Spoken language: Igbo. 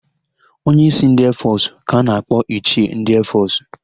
Onye ísí ndị eefọsụ ka a na-akpọ ichie ndị eefọsụ.